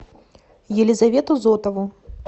елизавету зотову